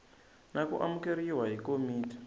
na ku amukeriwa hi komiti